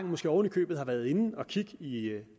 måske oven i købet har været inde at kigge i